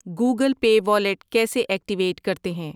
Google Pay wallet activate ایکٹیویٹ کرتے ہیں؟